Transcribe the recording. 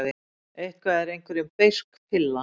Eitthvað er einhverjum beisk pilla